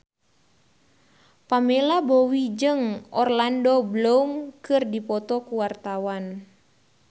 Pamela Bowie jeung Orlando Bloom keur dipoto ku wartawan